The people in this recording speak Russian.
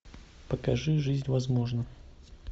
покажи жизнь возможна